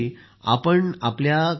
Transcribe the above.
आपण आपल्या कार्याविषयी